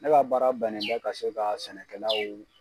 Ne ka baara bɛnnen bɛ ka se ka sɛnɛkɛlaw.